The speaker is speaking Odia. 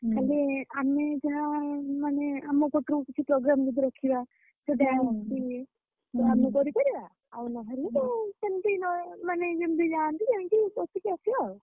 ଖାଲି ଆମେ ଯାହା ମାନେ ଆମ ପଟରୁ କିଛି problem ଯଦି ରଖିବା